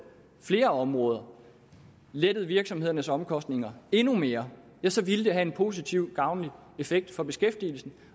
flere områder og lettet virksomhedernes omkostninger endnu mere så ville det have haft en positiv gavnlig effekt for beskæftigelsen